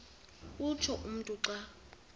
utsho umntu xa